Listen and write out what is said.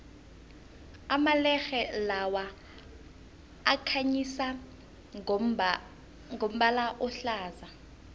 amalerhe lawa akhanyisa ngombala ohlaza